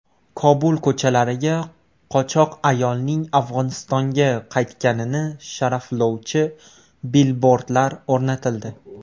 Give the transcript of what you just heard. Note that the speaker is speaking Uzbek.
Kobul ko‘chalariga qochoq ayolning Afg‘onistonga qaytganini sharaflovchi bilbordlar o‘rnatildi.